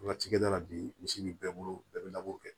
Wagati kɛ da la bi misi bɛ bɛɛ bolo bɛɛ bɛ labɔ kɛ